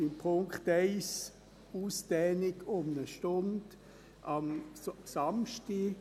Bei Punkt 1 die Ausdehnung um eine Stunde am Samstag: